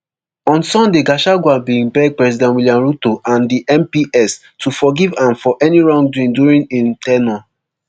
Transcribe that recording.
on sunday gachagua bin beg president william ruto and di mps to forgive am for any wrongdoing during im ten ure